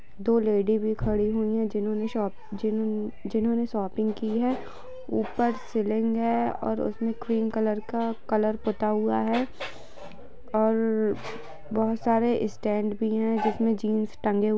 दो लेडी भी खड़ी है जिन्होंने शॉप जिन-जिन्होंने शॉपिंग की है ऊपर सीलिंग है और उसपे क्रीम कलर का कलर पूता हुआ है और बोहोत सारे स्टैन्ड भी है जिसमे जीन्स टंगे--